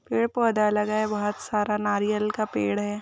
पेड़-पौधा लगा है बहुत सारा नारियल का पेड़ है।